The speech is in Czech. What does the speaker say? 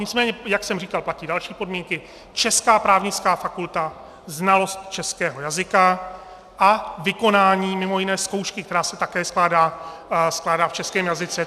Nicméně jak jsem říkal, platí další podmínky: česká právnická fakulta, znalost českého jazyka a vykonání mimo jiné zkoušky, která se také skládá v českém jazyce.